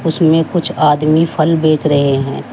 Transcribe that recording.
इसमें कुछ आदमी फल बेच रहे हैं।